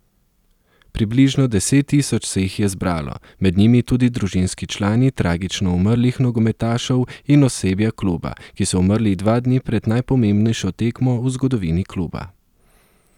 Približno deset tisoč se jih je zbralo, med njimi tudi družinski člani tragično umrlih nogometašev in osebja kluba, ki so umrli dva dni pred najpomembnejšo tekmo v zgodovini kluba.